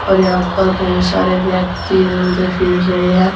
और यहां पर बहोत सारे व्यक्ति इधर उधर फिर रहे हैं।